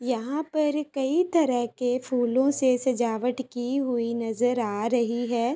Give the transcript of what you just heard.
यहां पर कई तरह के फूलों से सजावट की हुई नजर आ रही है।